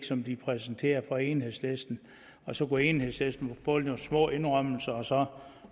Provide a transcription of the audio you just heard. som de præsenterede for enhedslisten og så kunne enhedslisten få nogle små indrømmelser og så